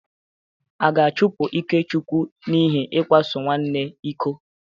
A ga-achụpụ Ikechukwu n'ihi ịkwaso nwanne iko?